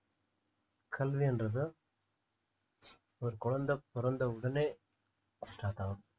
கல்வின்றது ஒரு குழந்தை பிறந்த உடனே start ஆகும்